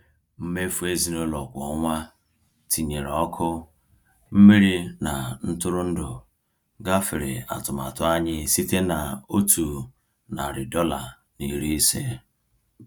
Mmefu ezinụlọ kwa ọnwa, tinyere ọkụ, mmiri na ntụrụndụ, gafere atụmatụ anyị site na $150.